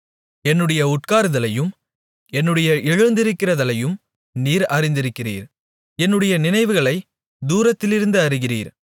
என்னுடைய உட்காருதலையும் என்னுடைய எழுந்திருக்குதலையும் நீர் அறிந்திருக்கிறீர் என்னுடைய நினைவுகளைத் தூரத்திலிருந்து அறிகிறீர்